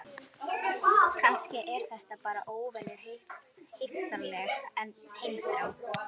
Kannski er þetta bara óvenju heiftarleg heimþrá.